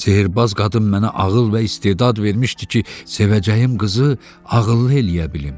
Sehrbaz qadın mənə ağıl və istedad vermişdi ki, sevəcəyim qızı ağıllı eləyə bilim.